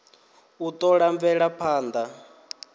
u t ola mvelaphand a